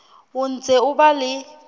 o ntse o ba le